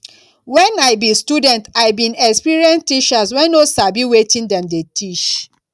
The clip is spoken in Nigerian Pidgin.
wen i be student i bin experience teachers wey no sabi wetin dem dey teach